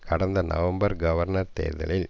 கடந்த நவம்பர் கவர்னர் தேர்தலில்